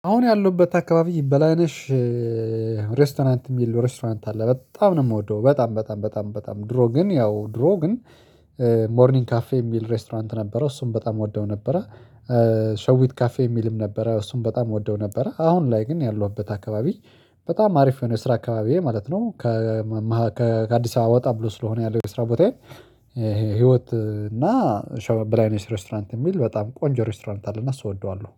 አሁን ያለሁበት አካባቢ በላነሽ ሬስቶራንት የሚል ሬስቶራንት አለ በጣም ነው የምወደው። በጣም በጣም በጣም በጣም ድሮ ግን ያው ድሮ ግን ሞርኒንግ ካፌ የሚል ሬስቶራንት ነበረው እሱም በጣም እወደው ነበረ። ሸዊት ካፌ የሚልም ነበረ እሱን በጣም እወደው ነበረ። አሁን ላይ ግን ያለሁበት አካባቢ በጣም አሪፍ ነው የስራ አካባቢዬ ማለት ነው። ከአዲስ አበባ ወጣ ብሎ ስለሆነ ያለው የስራ ቦታ። ህይወት እና በላይ ነው የሚል ሬስቶራንት የሚል በጣም ቆንጆ ሬስቶራንት አለና ስወደዋለሁ